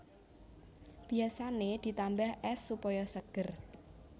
Biasané ditambah ès supaya seger